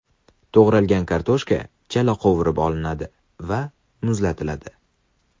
To‘g‘ralgan kartoshka chala qovurib olinadi va muzlatiladi.